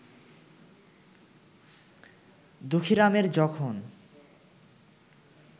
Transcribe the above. দুঃখীরামের যখন